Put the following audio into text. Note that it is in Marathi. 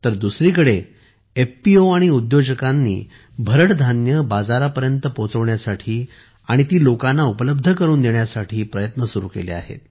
तर दुसरीकडे एफपीओ आणि उद्योजकांनी भरड धान्ये बाजारापर्यंत पोहोचवण्यासाठी आणि ती लोकांना उपलब्ध करून देण्यासाठी प्रयत्न सुरू केले आहेत